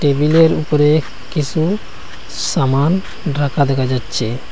টেবিলের উপরে কিসু সামান রাখা দেখা যাচ্ছে।